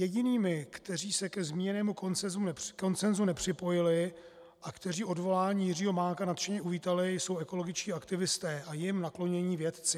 Jedinými, kteří se ke zmíněnému konsensu nepřipojili a kteří odvolání Jiřího Mánka nadšeně uvítali, jsou ekologičtí aktivisté a jim naklonění vědci.